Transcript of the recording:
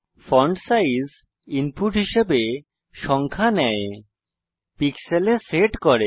font size input হিসাবে সংখ্যা নেয় পিক্সেলে সেট করে